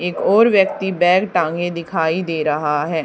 एक और व्यक्ति बैग टांगे दिखाई दे रहा है।